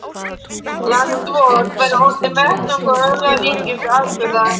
Land vort væri orðinn vettvangur örlagaríkustu atburða.